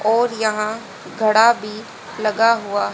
और यहां घड़ा भी लगा हुआ--